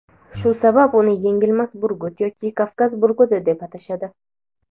Shu sabab uni "Yengilmas burgut" yoki "Kavkaz burguti" deb atashadi.